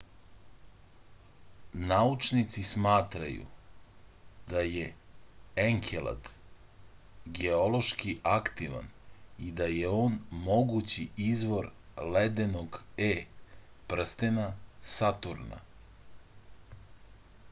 naučnici smatraju da je enkelad geološki aktivan i da je on mogući izvor ledenog e prstena saturna